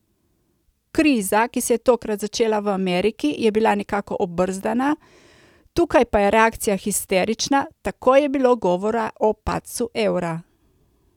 Kriza, ki se je tokrat začela v Ameriki, je bila nekako obrzdana, tukaj pa je reakcija histerična, takoj je bilo govora o padcu evra.